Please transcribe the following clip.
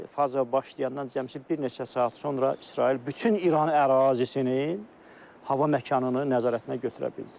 İsti faza başlayandan cəmi bir neçə saat sonra İsrail bütün İran ərazisinin, hava məkanını nəzarətinə götürə bildi.